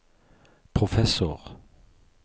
professor